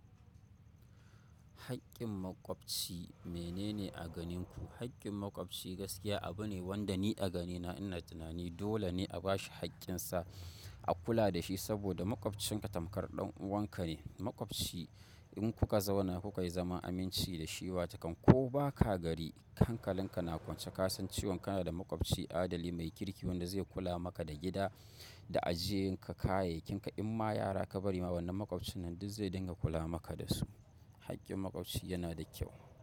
Hakin maƙwabci mene ne a ganin ku? Hakin maƙwabci gaskiya abune wanda ni a ganina ina tunani dole ne a bashi haƙƙinsa, a kula dashi saboda maƙwabcinka tamkar ɗan uwanka ne. Maƙwabci in kuka zauna kukayi zaman aminci dashi wata kan ko baka gari hankalinka na kwance kasan cewan kana da maƙwabci adali mai kirki wanda zai kula maka da gida da ajiyen ka kayakin ka. Inma yara ka bari wannan maƙwabcin duk zai dinga kula maka dasu. Haƙƙin maƙwabci yana da kyau.